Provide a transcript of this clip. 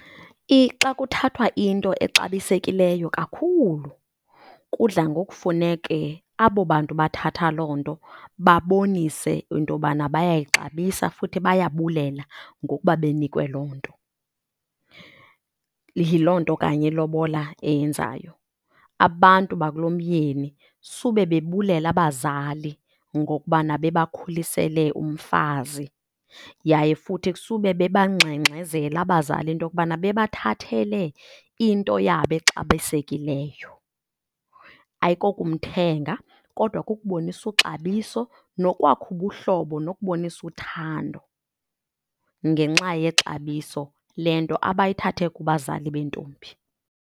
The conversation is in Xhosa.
Xa kuthathwa into exabisekileyo kakhulu kudla ngokufuneke abo bantu bathatha loo nto babonise into yobana bayayixabisa futhi bayabulela ngokuba benikwe loo nto. Yiloo nto kanye ilobola eyenzayo, abantu bakulomyeni sube bebulela abazali ngokubana bebakhulisele umfazi yaye futhi kusube bebangxengxezela abazali into yokubana bebathathele into yabo exabisekileyo. Ayikokumthenga kodwa kukubonisa ixabiso nokwakha ubuhlobo nokubonisa uthando ngenxa yexabiso le nto abayithathe kubazali bentombi.